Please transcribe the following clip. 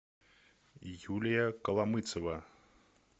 юлия коломыцева